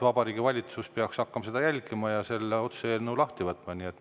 Vabariigi Valitsus peaks selle otsuse lahti võtma ja hakkama seda.